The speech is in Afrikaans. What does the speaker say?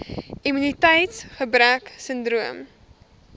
immuniteits gebrek sindroom